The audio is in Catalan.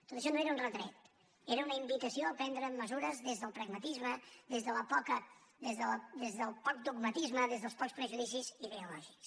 tot això no era un retret era una invitació a prendre mesures des del pragmatisme des del poc dogmatisme des dels pocs prejudicis ideo lògics